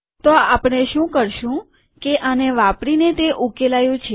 તો આપણે શું કરશું કે આને વાપરીને તે ઉકેલાયુ છે